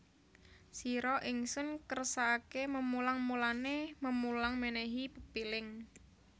Sira Ingsun kersakaké memulang mulané memulang mènèhi pepiling